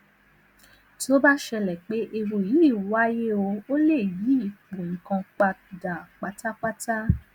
tó bá ṣẹlè pé ewu yìí wáyé ó lè yí ipò nǹkan padà pátápátá